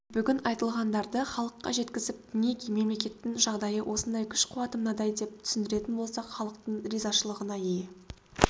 бүгін айтылғандарды халыққа жеткізіп мінеки мемлекеттің жағдайы осындай күш-қуаты мынадай деп түсіндіретін болсақ халықтың ризашылығына ие